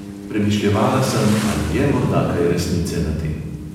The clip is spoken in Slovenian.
Premišljevala sem, ali je morda kaj resnice na tem.